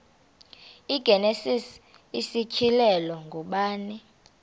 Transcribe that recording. igenesis isityhilelo ngubani